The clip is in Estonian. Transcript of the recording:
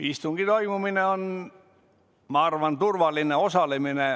Istungi toimumine on, ma arvan, turvaline.